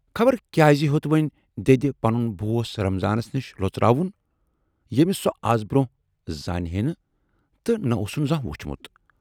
خبر کیازِ ہیوت وۅنۍ دٮ۪دِ پنُن بوس رمضانس نِش لۅژٕراوُن، یٔمِس سۅ از برونہہ زانہِ ہے نہٕ تہٕ نہٕ اوسُن زانہہ وُچھمُت۔